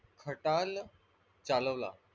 खटाल चालवला.